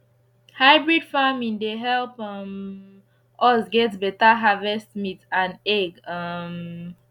hybrid farming dey help um us get better harvest meat and egg um